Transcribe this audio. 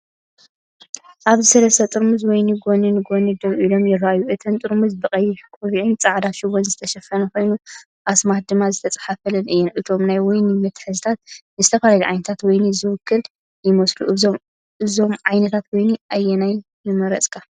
ኣብዚ ሰለስተ ጥርሙዝ ወይኒ ጎኒ ንጎኒ ደው ኢሎም ይረኣዩ። እተን ጥርሙዝ ብቀይሕ ቆቢዕን ጻዕዳ ሽቦን ዝተሸፈና ኮይነን፡ ኣስማት ድማ ዝተጻሕፈለን እየን። እቶም ናይ ወይኒ መትሓዚታት ንዝተፈላለዩ ዓይነታት ወይኒ ዝውክሉ ይመስሉ። ካብዞም ዓይነት ወይኒ ኣየናይ ምመረጽካ?